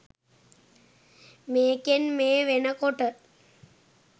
මේකෙන් මේ වෙන කොට